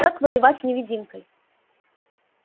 как воевать с невидимкой